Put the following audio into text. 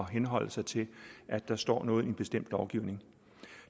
henholde sig til at der står noget i en bestemt lovgivning